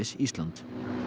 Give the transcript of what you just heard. Ísland